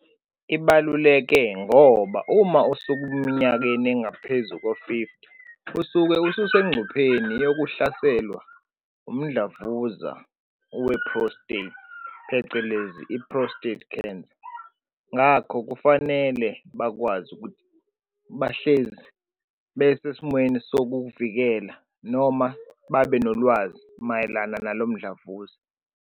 Ibaluleke ngoba uma usukuminyakeni engaphezu ko-fifty, usuke ususencupheni yokuhlaselwa wumdlavuza we-prostate, phecelezi i-prostate cancer. Ngakho kufanele bakwazi ukuthi bahlezi besesimweni sokuwuvikela noma babenolwazi mayelana nalomdlavuza.